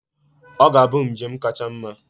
Ọ ga-abụ njem kacha mma.